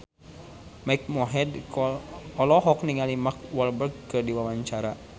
Mike Mohede olohok ningali Mark Walberg keur diwawancara